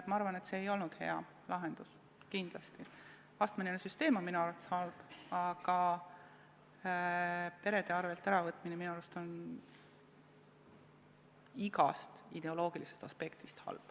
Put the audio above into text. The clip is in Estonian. Ma arvan, et see ei olnud kindlasti hea lahendus, astmeline süsteem on minu arvates halb, aga peredelt äravõtmine on minu arust igast ideoloogilisest aspektist halb.